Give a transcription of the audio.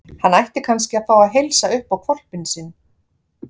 Hann ætti kannski að fá að heilsa upp á hvolpinn sinn.